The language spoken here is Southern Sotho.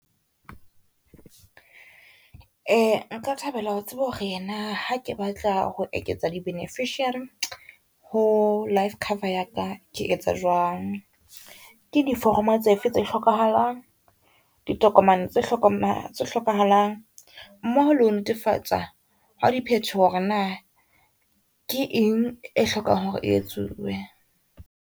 Nka thabela ho tseba hore na ha ke batla ho eketsa di-beneficiary ho life cover ya ka ke etsa jwang. Ke di foromo tse fe tse hlokahalang, ditokomane tse hlokahalang mmoho le ho netefatsa ha diphetoho hore na ke eng e hlokang hore e etsuwe.